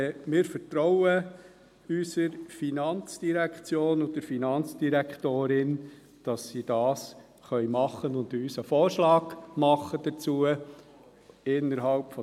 Aber wir vertrauen unserer FIN und der Finanzdirektorin, dass sie dies machen und uns einen Vorschlag dazu unterbreiten können.